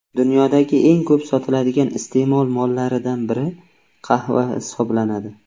Dunyodagi eng ko‘p sotiladigan iste’mol mollaridan biri qahva hisoblanadi.